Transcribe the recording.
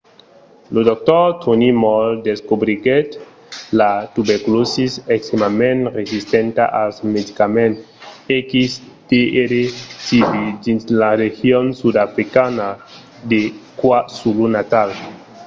lo dr. tony moll descobriguèt la tuberculòsi extrèmament resistenta als medicament xdr-tb dins la region sudafricana de kwazulu-natal